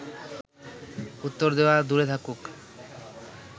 উত্তর দেওয়া দূরে থাকুক